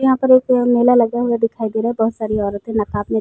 यहाँ पर एक मेला लगा हुआ दिखाई दे रहा है बहुत सारी औरतें नकाब में --